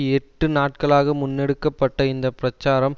எட்டு நாட்களாக முன்னெடுக்க பட்ட இந்த பிரச்சாரம்